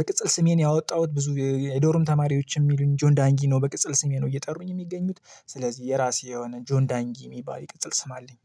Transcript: በቅጽል ስሜ ነው ያወጣሁት ብዙ የዶርም ተማሪዎች የሚሉኝ ጆን ዳንጊ ነው በቅጽል ስሜ ነው እየጠሩኝ የሚገኙት ስለዚህ የራሴ የሆነ ጆን ዳንጊ የሚባል ይቅጥል ስም አለኝ።